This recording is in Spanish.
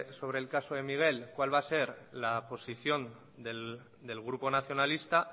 sobre el caso de miguel cuál va a ser la posición del grupo nacionalista